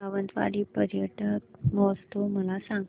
सावंतवाडी पर्यटन महोत्सव मला सांग